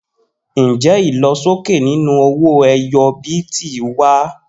Njẹ ilosoke ninu owó ẹyọ bíìtì wa?